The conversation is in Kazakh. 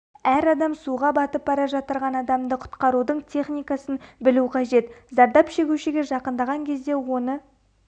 әр адам суға батып бара жатырған адамды құтқарудың техникасын білу қажет зардап шегушіге жақындаған кезде оны